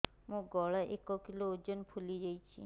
ମୋ ଗଳା ଏକ କିଲୋ ଓଜନ ଫୁଲି ଯାଉଛି